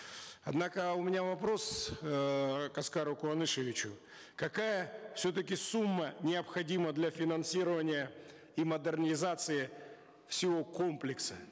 однако у меня вопрос эээ к аскару куанышевичу какая все таки сумма необходима для финансирования и модернизации всего комплекса